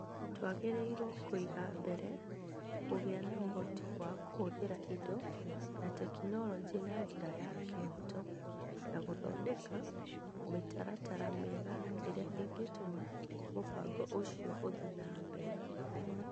Twagĩrĩirũo kũiga mbere kũgĩa na ũhoti wa kũhũthĩra indo na tekinoronjĩ na njĩra ya kĩhooto, na gũthondeka mĩtaratara mĩega ĩrĩa ĩngĩtũma mũbango ũcio ũthiĩ na mbere.